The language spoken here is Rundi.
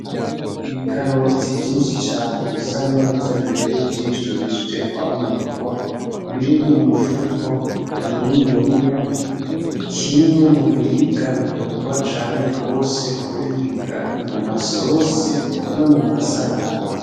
Ibikaroti vyinshi cane bisa neza bibereye ijisho, bihejeje kwamurwa biri mu mufuko muniniya. Ni kimwe mu biribwa bikundwa cane gose kuribwa mumza sosi no muma sarade.